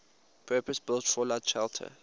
purpose built fallout shelter